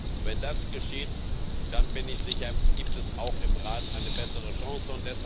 Und wenn das geschieht, dann bin ich sicher, gibt es auch im Rat eine bessere Chance.